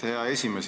Aitäh, hea esimees!